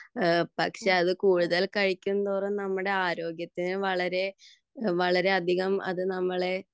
പക്ഷെ അത് കൂടുതൽ കഴിക്കുംതോറും നമ്മുടെ ആരോഗ്യത്തിന് വളരെ വളരെയധികം അത് നമ്മളെ